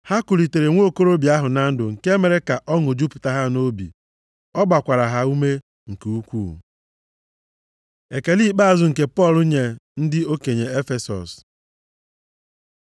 Ha kulitere nwokorobịa ahụ na ndụ nke mere ka ọṅụ jupụta ha nʼobi. Ọ gbakwara ha ume nke ukwuu. Ekele ikpeazụ nke Pọl nye ndị okenye Efesọs